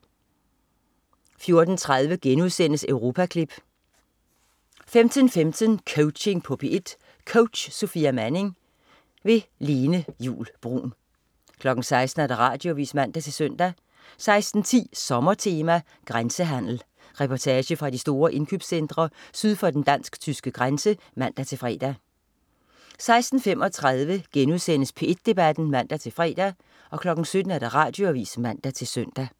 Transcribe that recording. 14.30 Europaklip* 15.15 Coaching på P1. Coach: Sofia Manning. Lene Juul Bruun 16.00 Radioavis (man-søn) 16.10 Sommertema. Grænsehandel. Reportage fra de store indkøbscentre syd for den dansk/tyske grænse (man-fre) 16.35 P1 Debat* (man-fre) 17.00 Radioavis (man-søn)